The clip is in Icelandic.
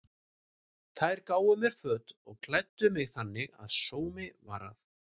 Þær gáfu mér föt og klæddu mig þannig að sómi var að.